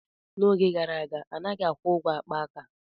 N'oge gara aga, a naghị akwụ ụgwọ akpa aka.